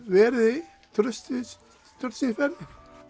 verið traustsins verðir